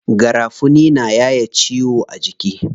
Garafuni na yaye ciwo a jiki.